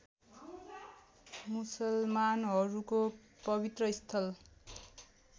मुसलमानहरूको पवित्र स्थल